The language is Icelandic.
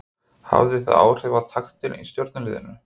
Hafði það áhrif á taktinn í Stjörnuliðinu?